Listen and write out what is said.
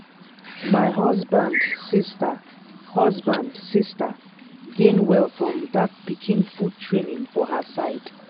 my husband sister husband sister gain well from that pikin food training for her side.